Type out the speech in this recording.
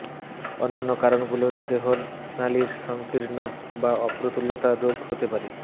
অন্যান্য কারণগুলোর দেহনালির সংকীর্ণ বা অপ্রতুলতা রোগ হতে পারে